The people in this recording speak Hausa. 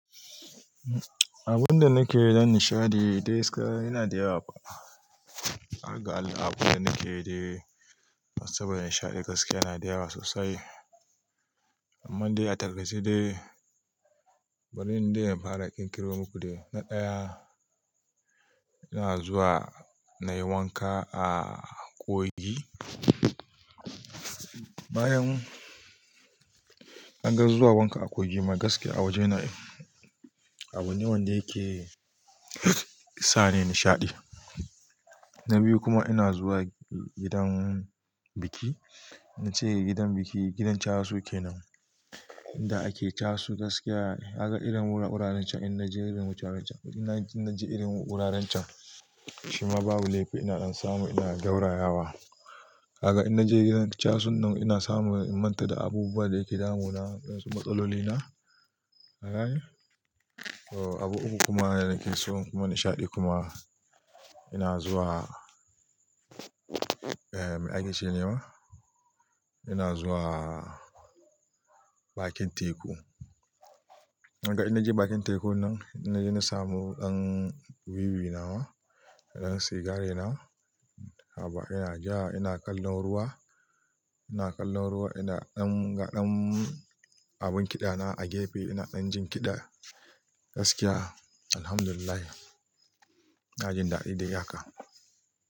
Abun da nake danna nishaɗi dai gaskiya yana da yawa. Aga allah abun da nake dayi, masu bayar da nishaɗi gaskiya yana da yawa sosai. Amma dai a targace dai bari dai in fara ƙirƙira muku dai na ɗaya ina zuwa nayi wanka a kogi. Bayan an gan zuwa wanka a Kogi magaske a waje na abu wanda yake sa ni nishaɗi. Na biyu kuma ina zuwa gidan biki. Na ce gidan biki, gidan casu kenan inda ake casu gaskiya. Aga irin wuraren can in naje wuraren can, ina na ji irin wuraren can shima babu laifi ina ɗan samu ina gaurayawa. Aga in naje gidan casun nan ina samu in manta da abubuwan da yake damuna, ɗan wasu matsaloli na. Ka gane. Abu uku kuma nake so kuma nishaɗi kuma ina zuwa eh dakin cecima ina zuwa bakin teku. Ka gan in naje bakin teku nan ina samu ɗan wiwi nawa, ɗan sigari na, haba ina ja ina kallon ruwa, ina kallon ruwa ina ɗan ga ɗan abun kiɗa na a gefe ina ɗan jin kiɗa gaskiya. Alhamdulillah ina jin daɗi da ya haka.